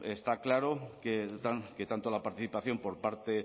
está claro que tanto la participación por parte